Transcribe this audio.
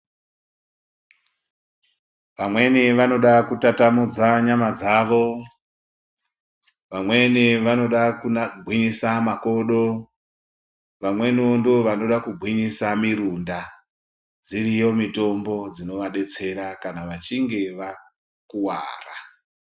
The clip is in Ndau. Vamweni vanodakutatamudza nyama dzavo, vamweni vanoda kugwinyisa makodo, vamwenivo ndovanoda kugwinyisa mirunda. Dziriyo mitombo dzinovabetsera kana vachinge vakuvara.